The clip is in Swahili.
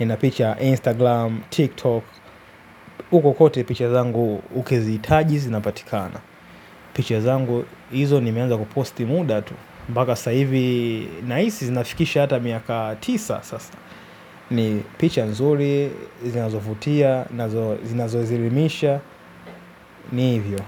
nina picha Instagram, TikTok. Uko kote picha zangu ukizihitaji, zinapatikana. Picha zangu hizo nimeanza kuposti muda tu. Mpaka saa hivi, nahisi zinafikisha hata miaka tisa sasa. Ni picha nzuri, zinazovutia na zinazozilimisha. Ni hivyo.